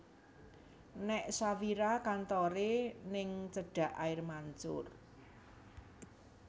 Nek Shafira kantore ning cedak air mancur